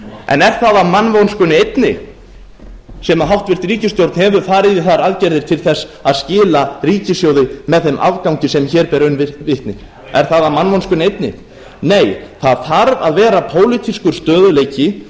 en er það af mannvonskunni einni sem háttvirtur ríkisstjórn hefur farið í þær aðgerðir til þess að skila ríkissjóði með þeim afgangi sem hér ber raun ber vitni er það af mannvonskunni einni nei það þarf að vera pólitískur stöðugleiki